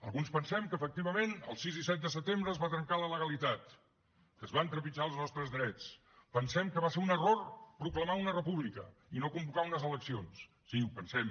alguns pensem que efectivament el sis i set de setembre es va trencar la legalitat que es van trepitjar els nostres drets pensem que va ser un error proclamar una república i no convocar unes eleccions sí ho pensem